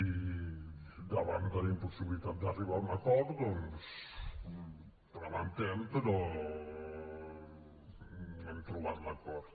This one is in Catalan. i davant de la impossibilitat d’arribar a un acord doncs ho lamentem però no hem trobat l’acord